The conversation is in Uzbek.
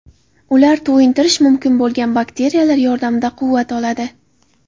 Ular to‘yintirish mumkin bo‘lgan batareyalar yordamida quvvat oladi.